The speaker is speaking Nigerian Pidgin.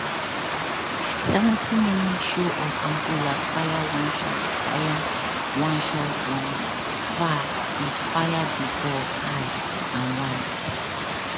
seventy minute show of angola fire one shot fire one shot from far e fire di ball high and wide.